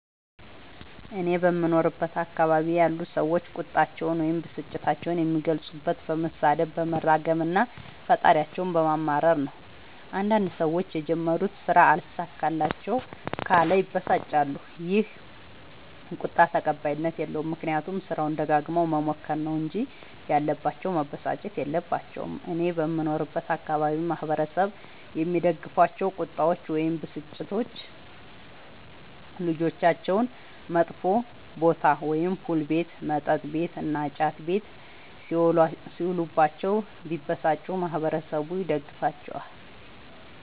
እኔ በምኖርበት አካባቢ ያሉ ሠዎች ቁጣቸዉን ወይም ብስጭታቸዉን የሚገልፁት በመሣደብ በመራገም እና ፈጣሪያቸዉን በማማረር ነዉ። አንዳንድ ሠዎች የጀመሩት ስራ አልሣካላቸዉ ካለ ይበሳጫሉ ይ። ይህ ቁጣ ተቀባይኀት የለዉም። ምክንያቱም ስራዉን ደጋግመዉ መሞከር ነዉ እንጂ ያለባቸዉ መበሳጨት የለባቸዉም። እኔ በምኖርበት አካባቢ ማህበረሰቡ የሚደግፋቸዉ ቁጣዎች ወይም ብስጭቶች ልጆቻቸዉ መጥፌ ቦታ[ፑል ቤት መጥ ቤት እና ጫት ቤት ]ሢዉሉባቸዉ ቢበሳጩ ማህበረሠቡ ይደግፋቸዋል።